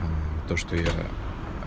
то что я